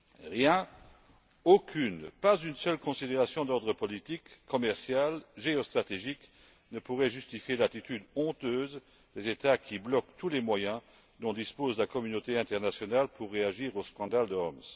Rien, aucune considération d'ordre politique, commercial, géostratégique, ne pourrait justifier l'attitude honteuse des États qui bloquent tous les moyens dont dispose la communauté internationale pour réagir au scandale de Homs.